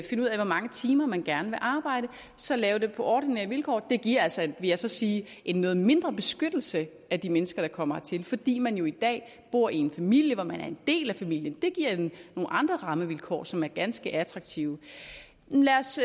finde ud af hvor mange timer man gerne vil arbejde og så lave det på ordinære vilkår det giver altså vil jeg sige en noget mindre beskyttelse af de mennesker der kommer hertil fordi man jo i dag bor i en familie hvor man en del af familien det giver nogle andre rammevilkår som er ganske attraktive lad os